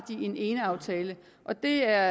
en eneaftale og det er